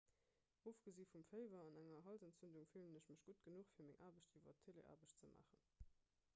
ofgesi vum féiwer an enger halsentzündung fillen ech mech gutt genuch fir meng aarbecht iwwer teleaarbecht ze maachen